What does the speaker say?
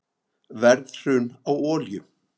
Verðhrun á olíu